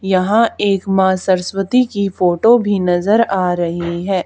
यहां एक माँ सरस्वती की फोटो भी नजर आ रही है।